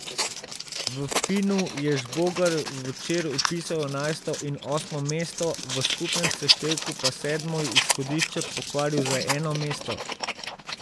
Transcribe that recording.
V finnu je Žbogar včeraj vpisal enajsto in osmo mesto, v skupnem seštevku pa sedmo izhodišče pokvaril za eno mesto.